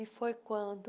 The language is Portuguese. E foi quando